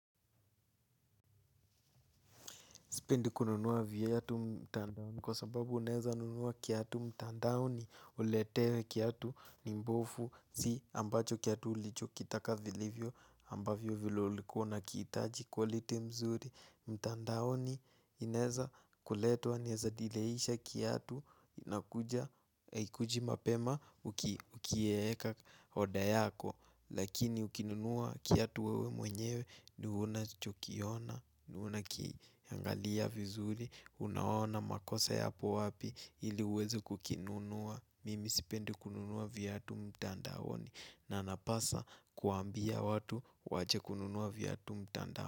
Sipendi kununua viatu mtandaoni kwa sababu uneza nunua kiatu mtandaoni uletewe kiatu ni mbovu si ambacho kiatu ulichokitaka vilivyo ambavyo vile ulikuwa unakihitaji quality mzuri. Mtandaoni inaeza kuletwa, inaeza dileisha kiatu haikuji mapema ukiweka order yako. Lakini ukinunua kiatu wewe mwenyewe, ni unachokiona, na unakiangalia vizuri. Unaona makosa yapo wapi ili uweze kukinunua. Mimi sipendi kununua viatu mtandaoni. Na napasa kuambia watu waache kununua viatu mtandaoni.